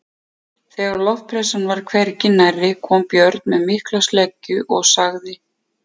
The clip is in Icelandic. Þegar loftpressan var hvergi nærri kom Björn með mikla sleggju og sagði